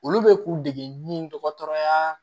Olu bɛ k'u dege ɲin dɔgɔtɔrɔya